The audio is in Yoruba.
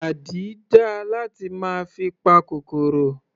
Àdí dáa láti máa fi pa kòkòrò.